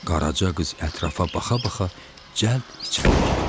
Qaraca qız ətrafa baxa-baxa cəld içəri girdi.